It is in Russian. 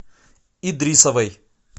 идрисовой